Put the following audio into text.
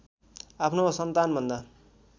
आफ्नो सन्तान भन्दा